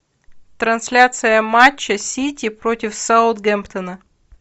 трансляция матча сити против саутгемптона